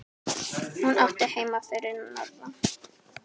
Hún átti heima fyrir norðan.